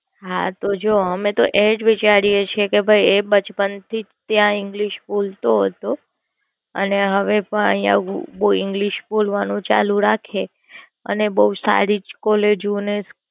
હા તો જમો આમે તો એ જ વિચારીએ છીએ કે એ બચપણ થી ત્યાં English બોલતો હતો અને હવે આઇયા English બોલવાનું ચાલુ રાખે અને બોવ સારી College ને.